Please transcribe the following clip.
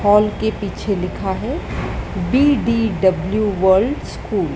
Hall के पीछे लिखा है बी_डी_डब्ल्यू वर्ल्ड स्कूल ।